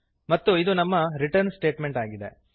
ಮತ್ತು ಇದು ನಮ್ಮ ರಿಟರ್ನ್ ಸ್ಟೇಟಮೆಂಟ್ ಆಗಿದೆ